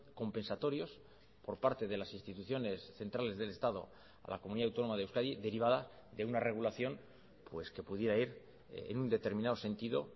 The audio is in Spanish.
compensatorios por parte de las instituciones centrales del estado a la comunidad autónoma de euskadi derivada de una regulación pues que pudiera ir en un determinado sentido